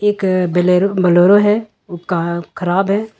एक Bolero Bolero है खराब है।